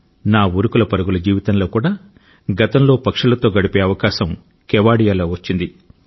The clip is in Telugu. నా ఉరుకులు పరుగుల జీవితంలో కూడా గతంలో పక్షులతో గడిపే అవకాశం కెవాడియాలో వచ్చింది